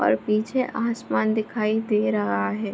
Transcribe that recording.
और पीछे आसमान दिखाई दे रहा है।